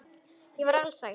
Ég var alsæl.